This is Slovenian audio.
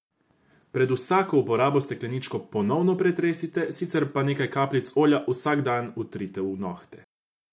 Pred vsako uporabo stekleničko ponovno pretresite, sicer pa nekaj kapljic olja vsak dan vtrite v nohte.